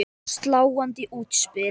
Sláandi útspil.